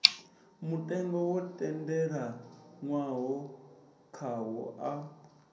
mutengo wo tendelanwaho khawo a